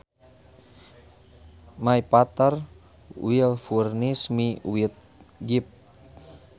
My father will furnish me with gifts